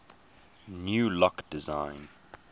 new lock designs